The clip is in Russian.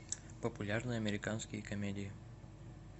популярные американские комедии